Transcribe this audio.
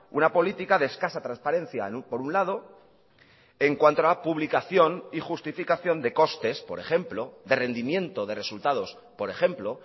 una política de escasa transparencia por un lado en cuanto a la publicación y justificación de costes por ejemplo de rendimiento de resultados por ejemplo